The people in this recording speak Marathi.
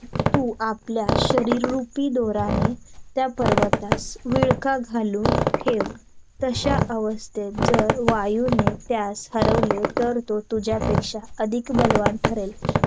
आहे का पण नाही मला dena bank त जायचे आहे तर ते काम झालं तर पुढे जाऊ नाहीतर मग मंगळवारी जाऊ.